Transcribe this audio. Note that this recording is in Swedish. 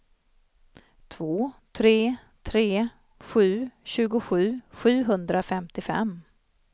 två tre tre sju tjugosju sjuhundrafemtiofem